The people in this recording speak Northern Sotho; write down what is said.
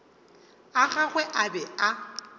a gagwe a be a